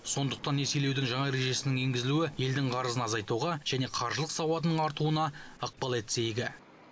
сондықтан несиелеудің жаңа ережесінің енгізілуі елдің қарызын азайтуға және қаржылық сауатының артуына ықпал етсе игі